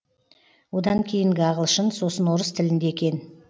одан кейінгі ағылшын сосын орыс тілінде кен